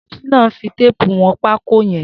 Shina n fi téèpú wọn pákó yèn